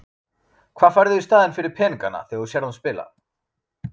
Hvað færðu í staðinn fyrir peningana þegar þú sérð hann spila?